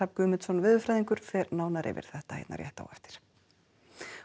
Guðmundsson veðurfræðingur fer nánar yfir þetta hér rétt á eftir